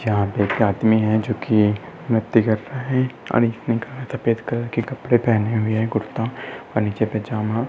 यहाँ पर एक आदमी है जोकि व्यक्तिगत है और इसने सफ़ेद कलर के कपड़े पहने हुए है ऊपर कुरता और नीचे पैजामा।